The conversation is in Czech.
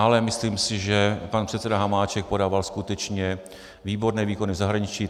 Ale myslím si, že pan předseda Hamáček podával skutečně výborné výkony v zahraničí.